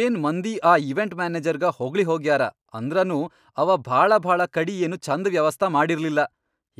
ಏನ್ ಮಂದಿ ಆ ಈವೆಂಟ್ ಮ್ಯಾನೆಜರ್ಗ ಹೊಗಳಿ ಹೋಗ್ಯಾರ ಅಂದ್ರನೂ ಅವಾ ಭಾಳಭಾಳ ಕಡಿ ಏನೂ ಛಂದ ವ್ಯವಸ್ಥಾ ಮಾಡಿರ್ಲಿಲ್ಲಾ.